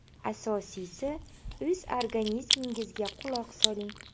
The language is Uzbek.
Asosiysi, o‘z organizmingizga quloq soling.